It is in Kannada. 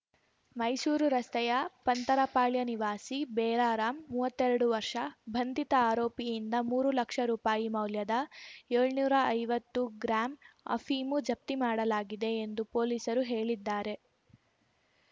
ಮೈಸೂರು ರಸ್ತೆಯ ಪಂತರಪಾಳ್ಯ ನಿವಾಸಿ ಬೇರಾರಾಮ್‌ ಮೂವತ್ತೆರಡು ವರ್ಷದ ಬಂಧಿತ ಆರೋಪಿಯಿಂದ ಮೂರು ಲಕ್ಷ ರೂಪಾಯಿ ಮೌಲ್ಯದ ಏಳ್ನೂರಾ ಐವತ್ತು ಗ್ರಾಂ ಅಫೀಮು ಜಪ್ತಿ ಮಾಡಲಾಗಿದೆ ಎಂದು ಪೊಲೀಸರು ಹೇಳಿದ್ದಾರೆ